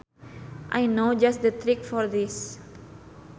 I know just the trick for this